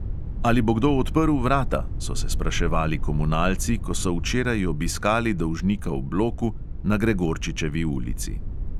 Ali bo kdo odprl vrata, so se spraševali komunalci, ko so včeraj obiskali dolžnika v bloku na gregorčičevi ulici.